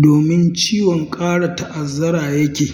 domin ciwon ƙara ta'azzara ya ke.